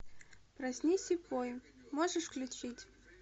проснись и пой можешь включить